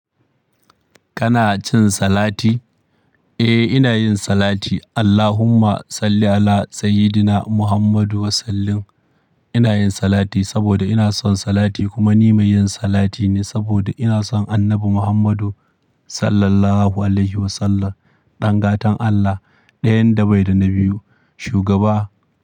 Kana cin salati? Eh, ina yin salati. Allahumma salli ala sayyidina Muhammadu wa sallim. Ina yin salati saboda ina son salati kuma ni mai yin salati ne saboda ina son Annabi Muhammadu sallallahu alaihi wasallam, ɗangatan Allah ɗayan da bai da na biyu, shugaba.